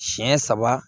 Siɲɛ saba